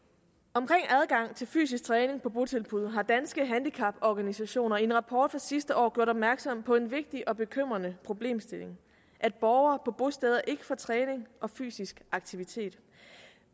omkring adgang til fysisk træning på botilbud har danske handicaporganisationer i en rapport fra sidste år gjort opmærksom på en vigtig og bekymrende problemstilling at borgere på bosteder ikke får træning og fysisk aktivitet